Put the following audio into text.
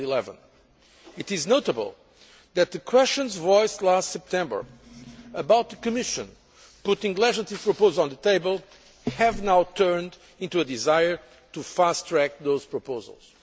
2011. It is notable that the questions voiced last September about the Commission putting legislative proposals on the table have now turned into a desire to fast track those proposals.